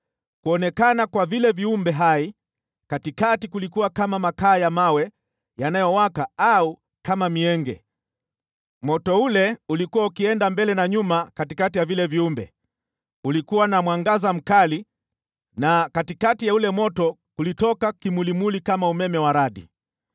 Kuonekana kwa vile viumbe hai katikati kulikuwa kama makaa ya mawe yanayowaka au kama mienge. Moto ule ulikuwa ukienda mbele na nyuma katikati ya vile viumbe, ulikuwa na mwangaza mkali na katikati ya ule moto kulitoka kimulimuli kama umeme wa radi.